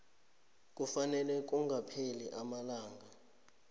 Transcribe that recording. kufanele kungakapheli amalanga